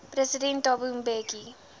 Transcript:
president thabo mbeki